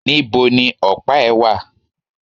Nibo ni ọ̀pá ẹ̀ wà?